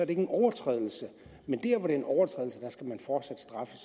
en overtrædelse skal man fortsat straffes